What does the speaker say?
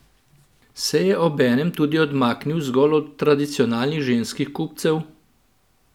Se je obenem tudi odmaknil zgolj od tradicionalnih ženskih kupcev?